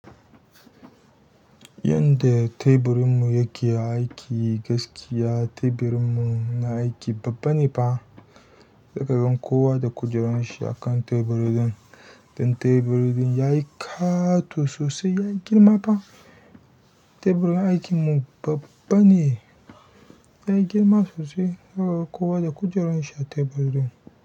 Yanda teburin mu yake aiki gaskiya teburin mu na aiki babba ne fa. Zaka ga kowa da kujerun shi a kan teburin don teburin ya yi ƙato sosai, ya yi girma fa. Teburin aikin mu babba ne, ya yi girma sosai. Zaka ga kowa da kujerun shi a teburin.